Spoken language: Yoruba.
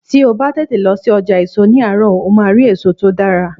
Tí o bá tètè lọ sí ọjà èso ní àárọ̀, o máa rí èso tó dára.